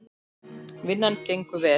Vinnan gengur vel.